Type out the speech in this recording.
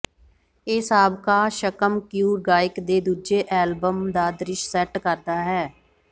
ਇਹ ਸਾਬਕਾ ਸ਼ਕਮਕਯੂ ਗਾਇਕ ਦੇ ਦੂਜੇ ਐਲਬਮ ਦਾ ਦ੍ਰਿਸ਼ ਸੈਟ ਕਰਦਾ ਹੈ